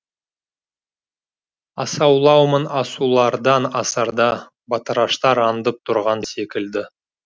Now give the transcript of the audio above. асаулаумын асулардан асарда батыраштар аңдып тұрған секілді